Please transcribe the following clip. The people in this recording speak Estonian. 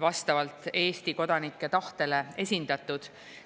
vastavalt Eesti kodanike tahtele esindatud.